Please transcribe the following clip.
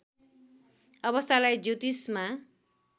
अवस्थालाई ज्योतिषमा